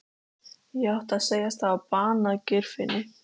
Ég átti að segjast hafa banað Geirfinni.